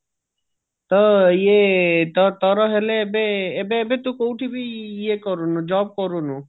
ତ ଇଏ ତୋ ତୋର ହେଲେ ଏବେ ଏବେ ତୁ କୋଉଠି ବି ଇଏ କରୁନୁ job କରୁନୁ